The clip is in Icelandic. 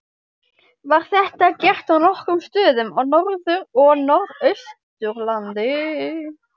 Var þetta gert á nokkrum stöðum á Norður- og Norðausturlandi.